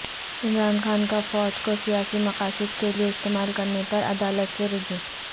عمران خان کا فوج کوسیاسی مقاصد کےلیے استعمال کرنے پرعدالت سے رجوع